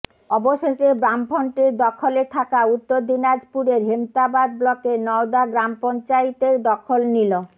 অবশেষে বামফ্রন্টের দখলে থাকা উত্তর দিনাজপুরের হেমতাবাদ ব্লকের নওদা গ্রাম পঞ্চায়েতের দখল নিল